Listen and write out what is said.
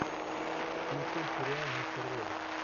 включи сериал мистер робот